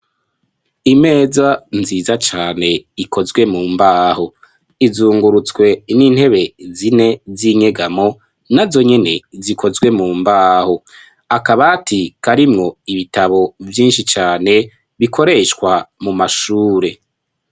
Imeza nziza cane ikozwe mu mbaho. Izungurutswe n'intebe zine z'inyegamo na zonyene zikozwe mu mbaho. Akabati karimwo ibitabo vyinshi cane bikoreshwa mu mashure.